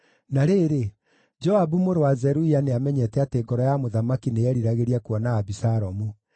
Na rĩrĩ, Joabu mũrũ wa Zeruia nĩamenyete atĩ ngoro ya mũthamaki nĩyeriragĩria kuona Abisalomu.